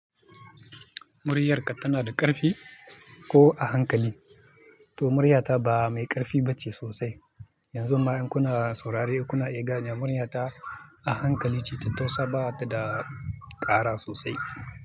Muryarka tana da ƙarfi ko a hankali? To muryata ba mai ƙarfi ba ce sosai. Yanzu ma in kuna saurare, kuna igani muryata a hankali ce tattausa ba ta da ƙara sosai.